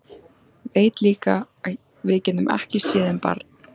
Veit líka að við getum ekki séð um barn.